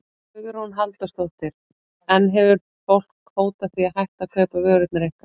Hugrún Halldórsdóttir: En hefur fólk hótað því að hætta að kaupa vörurnar ykkar?